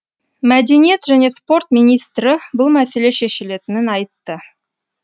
мәдениет және спорт министрі бұл мәселе шешілетінін айтты